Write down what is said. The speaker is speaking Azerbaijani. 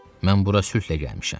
Mən bura sülhlə gəlmişəm.